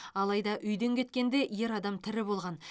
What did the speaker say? алайда үйден кеткенде ер адам тірі болған